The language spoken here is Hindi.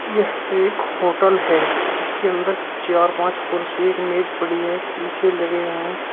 यह एक होटल है जिसके अंदर चार पांच कुर्सी एक मेज पड़ी है शीशे लगे हुए हैं।